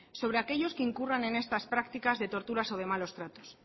sobre aquellos que incurran en estas prácticas de torturas o de malos tratos